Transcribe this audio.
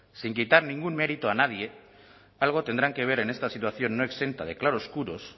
sin quitar ningún mérito a nadie algo tendrán que ver en esta situación no exenta de claroscuros